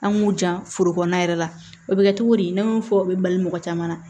An m'u jan foro kɔnɔna yɛrɛ la o be kɛ cogo di ne y'o fɔ o be bali mɔgɔ caman na